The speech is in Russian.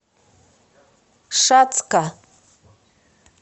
шацка